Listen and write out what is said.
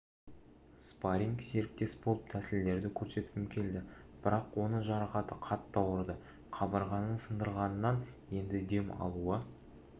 спарринг-серіктес болып тәсілдерді көрсеткім келді бірақ оның жарақаты қатты ауырды қабырғаның сынғандығынан енді дем алуы